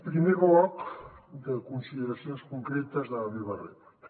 primer bloc de consideracions concretes de la meva rèplica